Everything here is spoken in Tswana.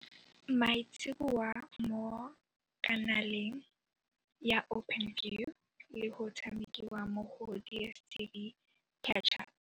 Maitseboa mo kanaleng ya Openview le go tshamekiwa mo go DSTV Catch-Up.